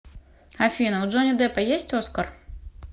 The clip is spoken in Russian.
афина у джонни деппа есть оскар